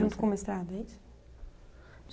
Junto com o mestrado, é isso?